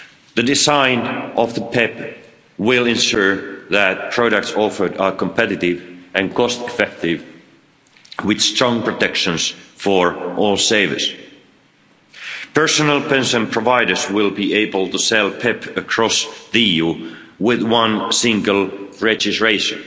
The design of the PEPP will ensure that products offered are competitive and cost-effective, with strong protection for all savers. Personal pension providers will be able to sell the PEPP across the EU with one single registration,